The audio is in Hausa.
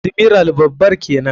Admiral babar kenan.